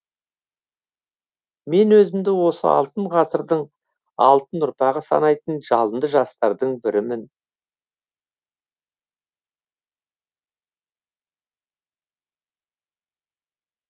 мен өзімді осы алтын ғасырдың алтын ұрпағы санайтын жалынды жастардың бірімін